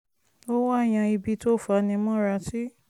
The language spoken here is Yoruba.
o wa yan ibi to fanimora si